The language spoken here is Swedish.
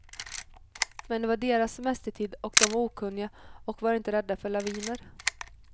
Men det var deras semestertid och de var okunniga och var inte rädda för laviner.